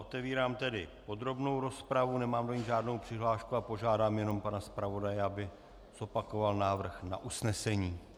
Otevírám tedy podrobnou rozpravu, nemám do ní žádnou přihlášku a požádám jenom pana zpravodaje, aby zopakoval návrh na usnesení.